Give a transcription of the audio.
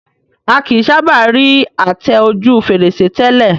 A kìí sábà rí àtẹ ojú fèrèsé tẹ́lẹ̀